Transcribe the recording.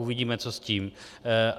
Uvidíme, co s tím.